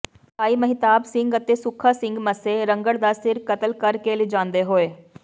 ਭਾਈ ਮਹਿਤਾਬ ਸਿੰਘ ਅਤੇ ਸੁੱਖਾ ਸਿੰਘ ਮੱਸੇ ਰੰਘੜ ਦਾ ਸਿਰ ਕਤਲ ਕਰ ਕੇ ਲਿਜਾਂਦੇ ਹੋਏ